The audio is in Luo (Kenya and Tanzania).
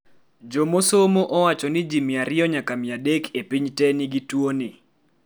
jomosomo owachoni ji mia ariyo nyaka mia adek e piny te nigi tuwoni